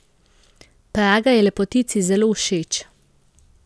Praga je lepotici zelo všeč.